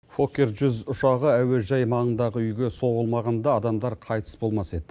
фоккер жүз ұшағы әуежай маңындағы үйге соғылмағанда адамдар қайтыс болмас еді